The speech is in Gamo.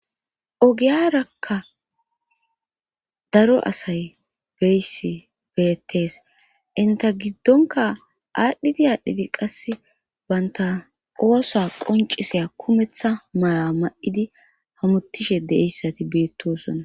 ogiyarakka daro asay beyssi beettees inta giddonka aadhdhidi aadhdhidi qasse baynta oosa qonciseya kumeththa maya ma7idi hamottishe deessati beettosonna